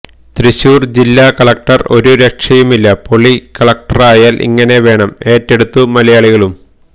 തൃശൂർ ജില്ലാ കളക്ടർ ഒരു രക്ഷയുമില്ല പൊളി കലക്ടറായാൽ ഇങ്ങനെ വേണം ഏറ്റെടുത്തു മലയാളികളും